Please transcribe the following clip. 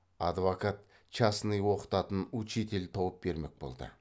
адвокат частный оқытатын учитель тауып бермек болды